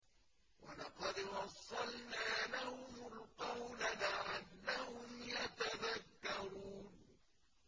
۞ وَلَقَدْ وَصَّلْنَا لَهُمُ الْقَوْلَ لَعَلَّهُمْ يَتَذَكَّرُونَ